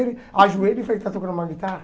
Ele ajoelha e faz que está tocando uma guitarra?